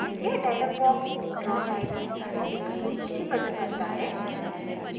यह dialog box draw file में सारे links को सूचीबद्ध करता है